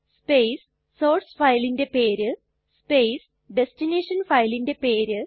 space source ഫയലിന്റെ പേര് space destination ഫയലിന്റെ പേര്